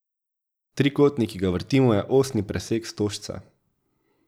Trikotnik, ki ga vrtimo, je osni presek stožca.